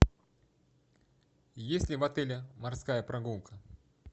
есть ли в отеле морская прогулка